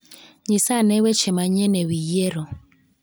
Nyisa ane weche manyien e wi yiero.